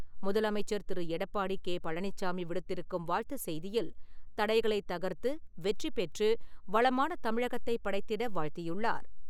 முதலமைச்சர் திரு. எடப்பாடி கே. பழனிச்சாமி விடுத்திருக்கும் வாழ்த்து செய்தியில், தடைகளைத் தகர்த்து, வெற்றிபெற்று, வளமான தமிழகத்தை படைத்திட வாழ்த்தியுள்ளார்.